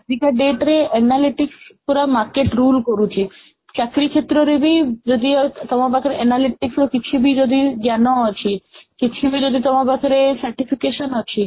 ଆଜିକା date ରେ analytic ପୁରା market rule କରୁଛି ଚାକିରୀ କ୍ଷେତ୍ରରେ ବି ଯଦି ଆଉ ତମପାଖରେ analytic ର କିଛିବି ଯଦି ଜ୍ଞାନ ଅଛି କିଛି ବି ଯଦି ତମୋ ପାଖରେ certification ଅଛି